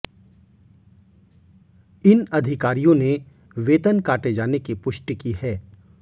इन अधिकारियों ने वेतन काटे जाने की पुष्टि की है